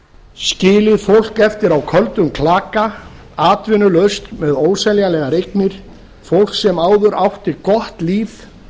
skilið fólk eftir á köldum klaka atvinnulaust með óseljanlegar eignir fólk sem áður átti gott líf